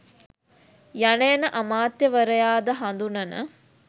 යන එනඅමාත්‍යවරයාද හඳුනන